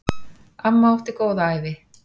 Amma átti góða ævi.